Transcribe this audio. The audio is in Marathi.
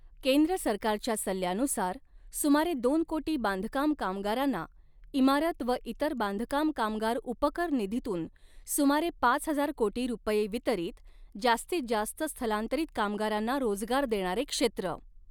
केंद्र सरकारच्या सल्ल्यानुसार, सुमारे दोन कोटी बांधकाम कामगारांना, इमारत व इतर बांधकाम कामगार उपकर निधीतून सुमारे पाच हजार कोटी रुपए वितरीत, जास्तीत जास्त स्थलांतरित कामगारांना रोजगार देणारे क्षेत्र